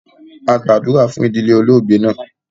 A gbàdúrà fun idilẹ̀ olóogbè naa